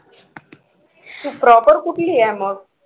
तू proper कुठली आहे मग?